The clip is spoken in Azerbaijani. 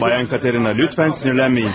Bayan Katerina, lütfən sinirlənməyin.